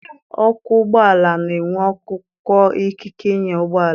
Ọkwọ ụgbọala na-enwe akwụkwọ ikike ịnya ụgbọala.